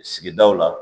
Sigidaw la